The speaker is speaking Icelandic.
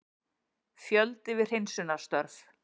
Fjöldi við hreinsunarstörf